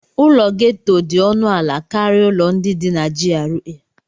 Ụlọ gétò dị ọnụ ala karịa ụlọ ndị dị na GRA